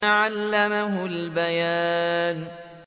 عَلَّمَهُ الْبَيَانَ